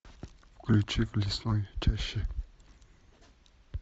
включи в лесной чаще